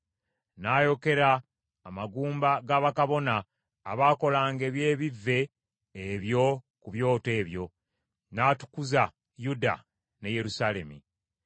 N’ayokera amagumba ga bakabona abaakolanga eby’ebivve ebyo ku byoto ebyo, n’atukuza Yuda ne Yerusaalemi.